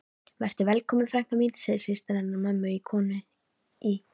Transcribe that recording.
Vertu velkomin frænka mín, segir systir hennar mömmu, konan í